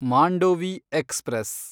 Mandovi express